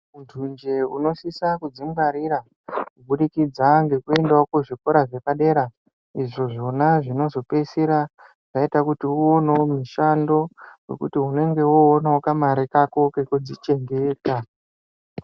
Muntunje unosisa kudzingwarira kubudikidza ngekuendawo kuzvikora zvepadera izvo zvona zvinozopedzisira zvaita kuti uwonewo mushando wekuti unenge woonawo kamare kako kekudzichengeta.